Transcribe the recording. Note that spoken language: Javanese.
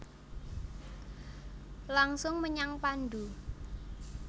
Langsung menyang pandhu